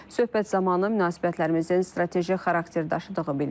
Söhbət zamanı münasibətlərimizin strateji xarakter daşıdığı bildirilib.